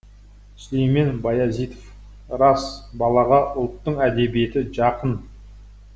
сүлеймен баязитов рас балаға ұлттың әдебиеті жақын